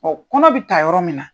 kɔnɔ bi ta yɔrɔ min na